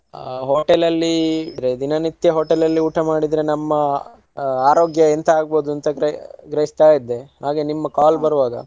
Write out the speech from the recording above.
ಆ hotel ಅಲ್ಲಿ ದಿನ ನಿತ್ಯ hotel ಅಲ್ಲಿ ಊಟ ಮಾಡಿದ್ರೆ ನಮ್ಮ ಅ~ ಆರೋಗ್ಯ ಎಂತ ಆಗ್ಬೋದು ಅಂತ ಗ್ರ~ ಗ್ರಹಿಸ್ತಾಯಿದ್ದೆ. ಹಾಗೆ ನಿಮ್ call ಬರುವಾಗ.